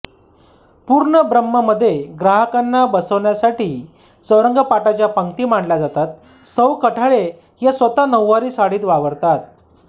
पूर्णब्रम्हमध्ये ग्राहकांना बसण्यासाठी चौरंगपाटाच्या पंगती मांडल्या जातात सौ कठाळे या स्वतः नऊवारी साडीत वावरतात